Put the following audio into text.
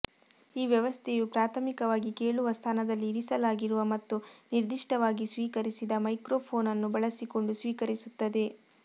ಈ ವ್ಯವಸ್ಥೆಯು ಪ್ರಾಥಮಿಕವಾಗಿ ಕೇಳುವ ಸ್ಥಾನದಲ್ಲಿ ಇರಿಸಲಾಗಿರುವ ಮತ್ತು ನಿರ್ದಿಷ್ಟವಾಗಿ ಸ್ವೀಕರಿಸಿದ ಮೈಕ್ರೊಫೋನ್ ಅನ್ನು ಬಳಸಿಕೊಂಡು ಸ್ವೀಕರಿಸುತ್ತದೆ